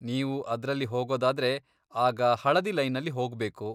ನೀವು ಅದ್ರಲ್ಲಿ ಹೋಗೋದಾದ್ರೆ, ಆಗ ಹಳದಿ ಲೈನಲ್ಲಿ ಹೋಗ್ಬೇಕು.